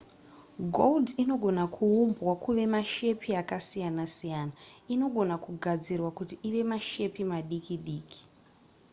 gold inogona kuumbwa kuva mashepi akasiyana-siyana inogona kugadzirwa kuti ive mashepi madiki diki